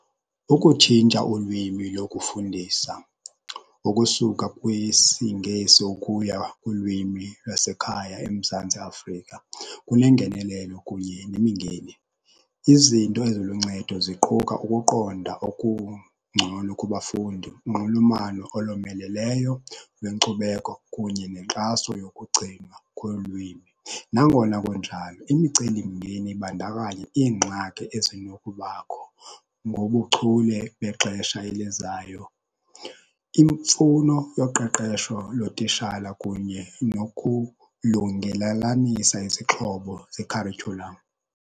Ukutshintsha ulwimi lokufundisa, ukusuka kwisiNgesi ukuya kulwimi lwasekhaya eMzantsi Afrika, kunengenelelo kunye nemingeni. Izinto eziluncedo ziquka ukuqonda okungcono kubafundi, unxulumano olomeleleyo lwenkcubeko kunye nenkxaso yokugcinwa kwolwimi. Nangona kunjalo imicelimngeni ibandakanya iingxaki ezinokubakho ngobuchule bexesha elizayo, imfuno yoqeqesho lotishala kunye nokulungelalanisa izixhobo zekharityhulamu.